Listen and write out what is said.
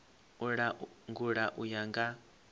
u langula u ya nga